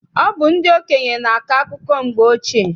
Ọ bụ ndị okenye na-akọ akụkọ mgbe ochie.